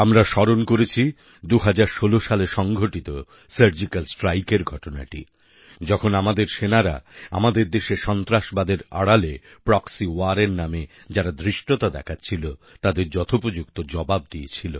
আমরা স্মরণ করেছি ২০১৬ সালে সংঘটিত সার্জিক্যাল স্ট্রাইকএর ঘটনাটি যখন আমাদের সেনারা আমাদের দেশে সন্ত্রাসবাদের আড়ালে প্রক্সি ওয়্যারের নামে যারা ধৃষ্টতা দেখাচ্ছিল তাদের যথোপযুক্ত জবাব দিয়েছিল